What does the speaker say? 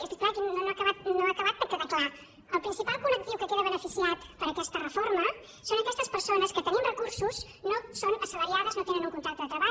i és que és clar aquí no ha acabat de quedar clar el principal col·lectiu que queda beneficiat per aquesta reforma són aquestes persones que tenint recursos no són assalariades no tenen un contracte de treball